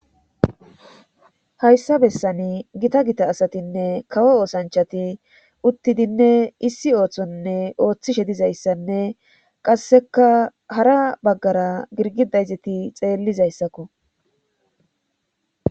Hayssa bessani gita gita asatinne kawo oosanchati uttidinne issi ooththonne ooththishe dizayssanne qasseka hara baggara girgi dayzeti xeellizayssakko.